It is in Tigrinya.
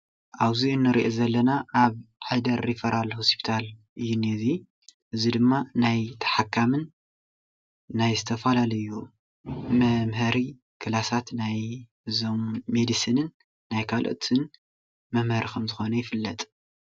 ኣብ እዙ እንሪኦ ዘለና ኣብ ዓይደር ሪፈራል ሆስፒታል እዩ ዝንሄ እዙይ፡፡ እዙይ ድማ ናይ ተሓካሚን ናይ ዝተፈላለዩ መምሀሪ ክላሳት ናይ እዞም መዲስንን ናይ ካልኦትን መምሀርን ከም ዝኮነ ይፍለጥ፡፡